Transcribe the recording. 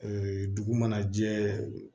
dugu mana jɛ